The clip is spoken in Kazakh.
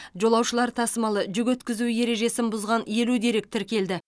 жолаушылар тасымалы жүк өткізу ережесін бұзған елу дерек тіркелді